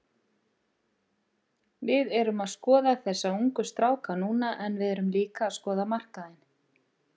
Við erum að skoða þessa ungu stráka núna en við erum líka að skoða markaðinn.